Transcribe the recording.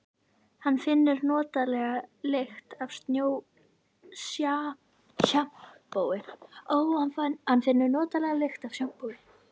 Hann finnur notalega lykt af sjampói.